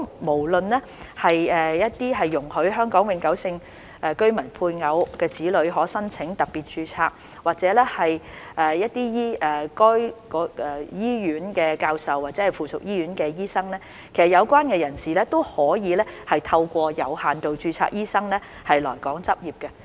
無論是容許香港永久性居民配偶及子女可申請特別註冊，或者一些醫院的教授，或附屬醫院的醫生，其實有關人士都可透過有限度註冊醫生的途徑來港執業。